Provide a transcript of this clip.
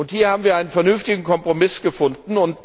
Hier haben wir einen vernünftigen Kompromiss gefunden.